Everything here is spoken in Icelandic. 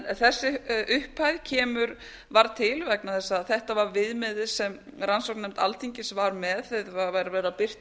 en þessi upphæð varð til vegna þess að þetta var viðmiðið sem rannsóknarnefnd alþingis var með þegar var verið að birta